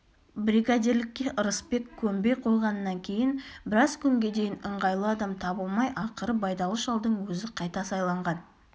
бригадирлікке ырысбек көнбей қойғаннан кейін біраз күнге дейін ыңғайлы адам табылмай ақыры байдалы шалдың өзі қайта сайланған